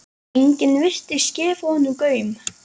Enginn virtist gefa honum gaum.